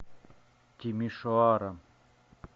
тимишоара